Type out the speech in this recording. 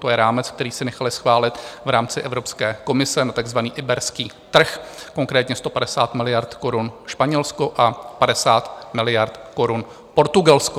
To je rámec, který si nechaly schválit v rámci Evropské komise na takzvaný iberský trh, konkrétně 150 miliard korun Španělsko a 50 miliard korun Portugalsko.